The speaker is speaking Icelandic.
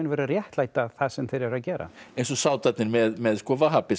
að réttlæta það sem þeir eru að gera eins og með